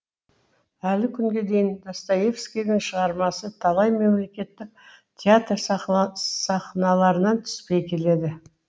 әлі күнге дейін достоевскийдің шығармасы талай мемлекеттің театр сахналарынан түспей келеді